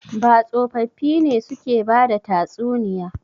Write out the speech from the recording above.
Ba tsofaffi ne suke bada tatsuniya.